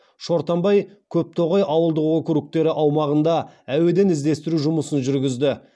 шортанбай көптоғай ауылдық округтері аумағында әуеден іздестіру жұмысын жүргізді